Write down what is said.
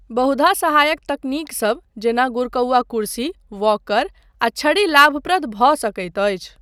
बहुधा सहायक तकनीकसब जेना गुरकौआ कुर्सी, वॉकर आ छड़ी लाभप्रद भऽ सकैत अछि।